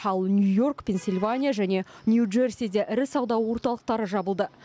ал нью йорк пенсильвания және нью джерсиде ірі сауда орталықтары жабылды